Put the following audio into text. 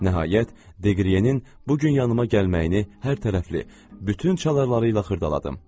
Nəhayət, Deqriyenin bu gün yanıma gəlməyini hər tərəfli, bütün çalarlarıyla xırdaladım.